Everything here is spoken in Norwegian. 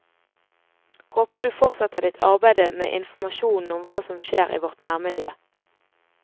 Håper du fortsetter ditt arbeid med informasjon om hva som skjer i vårt nærmiljø.